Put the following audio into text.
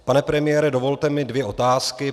Pane premiére, dovolte mi dvě otázky.